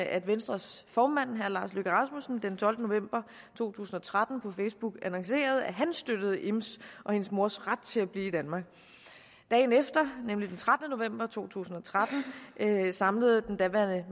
at venstres formand herre lars løkke rasmussen den tolvte november to tusind og tretten på facebook annoncerede at han støttede ims og hendes mors ret til at blive i danmark dagen efter nemlig den trettende november to tusind og tretten samlede den daværende